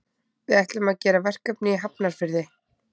Við ætlum að gera verkefni í Hafnarfirði.